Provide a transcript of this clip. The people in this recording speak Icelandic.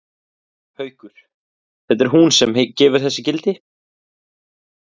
Haukur: Það er hún sem gefur þessu gildi?